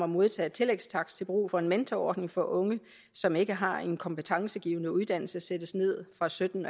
modtage tillægstakst til brug for en mentorordning for unge som ikke har en kompetencegivende uddannelse sættes ned fra sytten